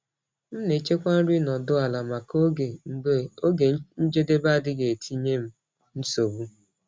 M na-echekwa nri nọdụ ala maka oge mgbe oge njedebe adịghị etinye m nsogbu.